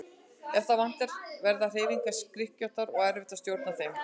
Ef það vantar verða hreyfingar skrykkjóttar og erfitt að stjórna þeim.